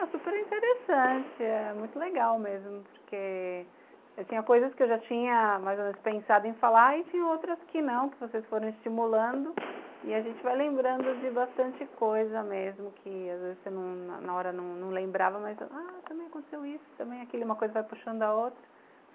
Ah, super interessante, é muito legal mesmo, porque eu tinha coisas que eu já tinha mais ou menos pensado em falar e tinha outras que não, que vocês foram estimulando e a gente vai lembrando de bastante coisa mesmo, que às vezes você na hora não lembrava, ah mas também aconteceu isso, também aquilo, uma coisa vai puxando a outra.